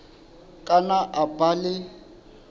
ka nna a ba le